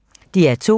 DR2